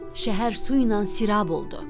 Şəhər suynan sirab oldu.